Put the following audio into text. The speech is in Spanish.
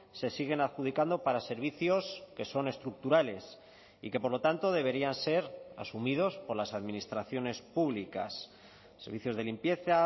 se siguen adjudicando para servicios que son estructurales y que por lo tanto deberían ser asumidos por las administraciones públicas servicios de limpieza